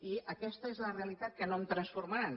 i aquesta és la realitat que no em transformaran